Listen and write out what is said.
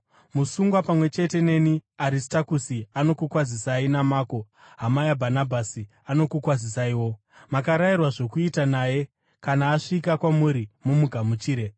Musungwa pamwe chete neni Aristakusi anokukwazisai, naMako, hama yaBhanabhasi anokukwazisaiwo. (Makarayirwa zvokuita naye; kana asvika kwamuri, mumugamuchire.)